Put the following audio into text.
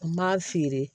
N m'a feere